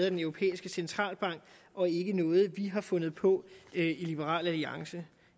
af den europæiske centralbank og ikke noget vi har fundet på i liberal alliance